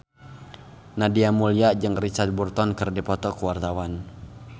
Nadia Mulya jeung Richard Burton keur dipoto ku wartawan